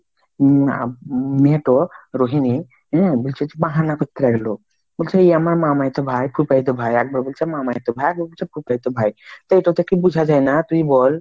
উম মেয়ে তো রোহিনী হম বুলছে তো বাহানা করতে লাগিল বলছে, এ আমার মামাতো ভাই খুপায়তো ভাই, এক বার বলছে মামাতো ভাই, একবার বলছে খুপায়তো ভাই তো এটা থেকে বুঝা যায় না তুই বোল ?